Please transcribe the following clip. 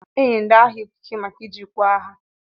Enye ndi agha ikeke maka iji nkwa agha.